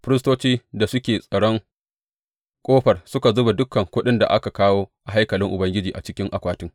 Firistocin da suke tsaron ƙofar suka zuba dukan kuɗin da aka kawo a haikalin Ubangiji a cikin akwatin.